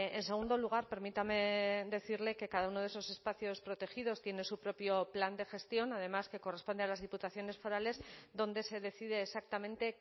en segundo lugar permítame decirle que cada uno de esos espacios protegidos tiene su propio plan de gestión además que corresponde a las diputaciones forales donde se decide exactamente